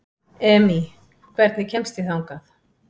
Emý, hvernig kemst ég þangað?